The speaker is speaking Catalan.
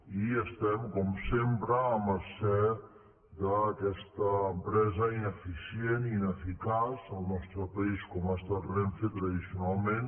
i estem com sempre a mercè d’aquesta empresa ineficient i ineficaç al nostre país com ho ha estat renfe tradicionalment